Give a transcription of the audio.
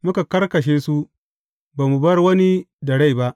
Muka karkashe su, ba mu bar wani da rai ba.